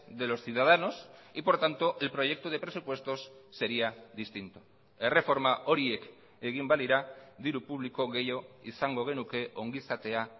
de los ciudadanos y por tanto el proyecto de presupuestos sería distinto erreforma horiek egin balira diru publiko gehiago izango genuke ongizatea